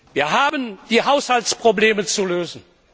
Wir haben die Haushaltsprobleme zu lösen.